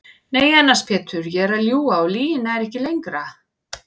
Nei annars Pétur ég er að ljúga og lygin nær ekki lengra.